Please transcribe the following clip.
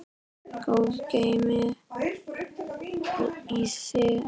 Guð geymi þig, elsku vinur.